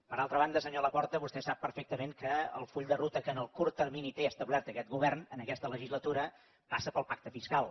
per altra banda senyor laporta vostè sap perfectament que el full de ruta que en el curt termini té establert aquest govern en aquesta legislatura passa pel pacte fiscal